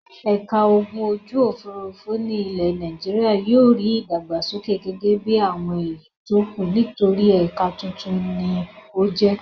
Ẹ̀ka ogun ojú-òfurufú ilẹ̀ Nàìjíríà yóò rí ìdàgbàsókè gẹ́gẹ́ bí àwọn èyí tó kù nítorí ẹ̀ka tuntun ni ó jẹ́.